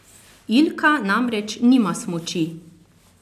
Ilka namreč nima smuči!